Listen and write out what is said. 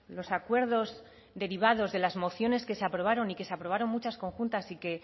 los acuerdos derivados de las mociones que se aprobaron y que se aprobaron muchas conjuntas y que